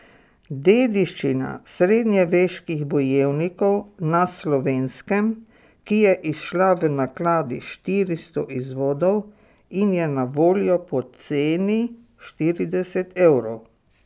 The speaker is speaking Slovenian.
Dediščina srednjeveških bojevnikov na Slovenskem, ki je izšla v nakladi štiristo izvodov in je na voljo po ceni štirideset evrov.